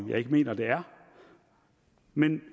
jeg ikke mener det er men